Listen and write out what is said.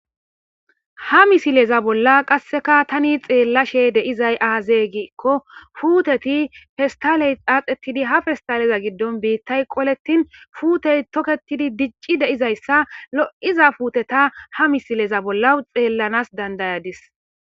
Ha misileza bolla qasseka tani xeellashe deizay aazee gikko fuuteti festaley xaaxetidi ha festaleza giddon biittay qolettin fuutey toketidi dicci deizayssa lo'iza puuteta ha misileza bolla xeellanas dandayadis.